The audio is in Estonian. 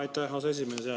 Aitäh, aseesimees!